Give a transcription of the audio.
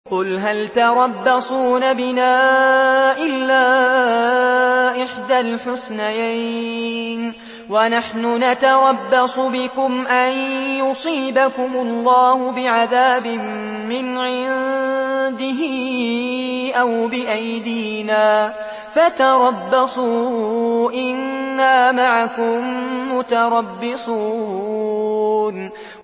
قُلْ هَلْ تَرَبَّصُونَ بِنَا إِلَّا إِحْدَى الْحُسْنَيَيْنِ ۖ وَنَحْنُ نَتَرَبَّصُ بِكُمْ أَن يُصِيبَكُمُ اللَّهُ بِعَذَابٍ مِّنْ عِندِهِ أَوْ بِأَيْدِينَا ۖ فَتَرَبَّصُوا إِنَّا مَعَكُم مُّتَرَبِّصُونَ